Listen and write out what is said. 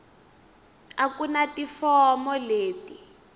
a ku na tifomo leti